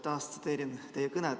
Ma taas tsiteerin teie kõnet.